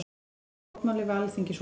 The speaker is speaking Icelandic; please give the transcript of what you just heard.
Boða mótmæli við Alþingishúsið